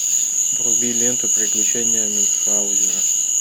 вруби ленту приключения мюнхаузена